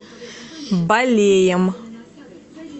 балеем